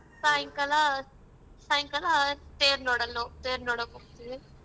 ಸಾಯಂಕಲಾ ಸಾಯಂಕಾಲ ತೇರ್ ನೋಡಲ್~ನೋಡಕ್ ಹೋಗ್ತೀವಿ.